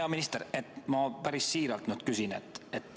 Hea minister, ma päris siiralt küsin.